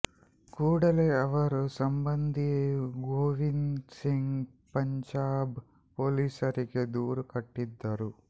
ಕೂಡಲೇ ಅವರ ಸಂಬಂಧಿ ಗೋವಿಂದ್ ಸಿಂಗ್ ಪಂಜಾಬ್ ಪೊಲೀಸರಿಗೆ ದೂರು ಕೊಟ್ಟಿದ್ದರು